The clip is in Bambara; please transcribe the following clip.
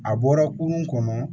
A bɔra kurun kɔnɔ